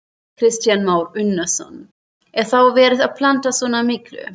Kristján Már Unnarsson: Er þá verið að planta svona miklu?